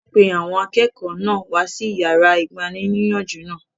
Wọ́n pe àwọn akẹ́kọ̀ọ́ náà wá sí yàrá igbaníniyànjú náà